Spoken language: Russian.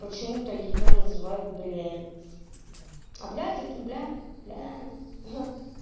почему-то её называют блядь а блядь это блядь блядь